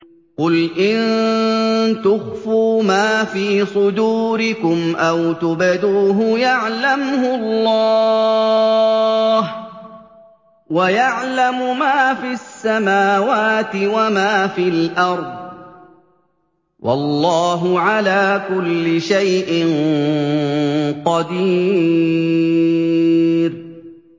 قُلْ إِن تُخْفُوا مَا فِي صُدُورِكُمْ أَوْ تُبْدُوهُ يَعْلَمْهُ اللَّهُ ۗ وَيَعْلَمُ مَا فِي السَّمَاوَاتِ وَمَا فِي الْأَرْضِ ۗ وَاللَّهُ عَلَىٰ كُلِّ شَيْءٍ قَدِيرٌ